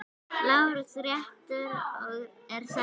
LÁRUS: Réttur er settur!